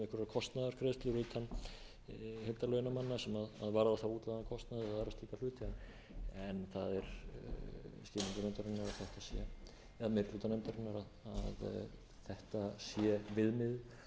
kostnaðargreiðslur utan heildarlauna manna sem varða þá útlagðan kostnað eða aðra slíka hluti en á er skilningur meiri hluta nefndarinnar að þetta sé viðmiðið og meginreglan sem kjararáð